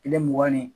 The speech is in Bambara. Kile mugan ni